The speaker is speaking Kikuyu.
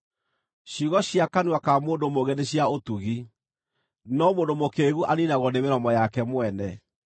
Ciugo cia kanua ka mũndũ mũũgĩ nĩ cia ũtugi, no mũndũ mũkĩĩgu aniinagwo nĩ mĩromo yake mwene.